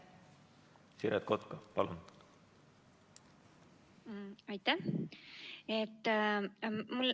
Siret Kotka, palun!